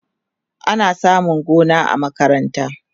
ana samun gona ta makaranta